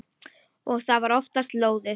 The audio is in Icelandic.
Og það var oftast lóðið.